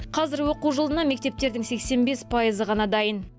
қазір оқу жылына мектептердің сексен бес пайызы ғана дайын